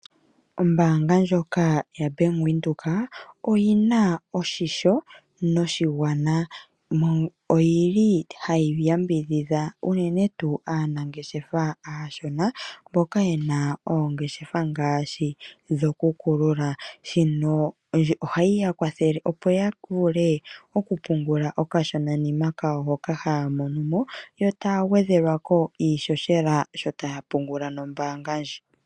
Ombaanga ndjoka yaBank Windhoek oyina oshisho noshigwana. Oyili hayi yambidhidha unene tuu aanangeshefa aashona mboka yena oongeshefa ngaashi dhokukulula. Shino ohayi yakwathele opo yavule okupungula okashonanima kayo hoka haya monomo yo taya gwedhelwako iishoshela sho taya pungula nombaanga ndji.